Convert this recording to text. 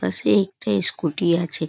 পাশে একটা স্কুটি আছে।